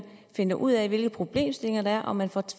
finder ud af hvilke problemstillinger der er og man får